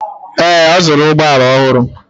Ee, ọ zụrụ ụgbọ ala ọhụrụ.